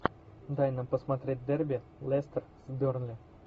дай нам посмотреть дерби лестер с бернли